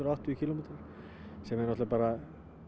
áttatíu kílómetra sem er náttúrulega